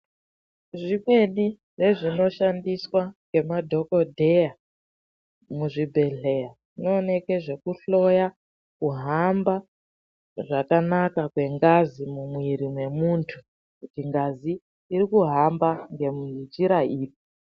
Zvimweni zvezvinoshandiswa nemadhokodheya muzvibhedhlera zvinooneka nezvekuhloya kuhamba zvakanaka kwengazi mumwiri wemuntu kuti ngazi iri kuhamba ngenjira iri.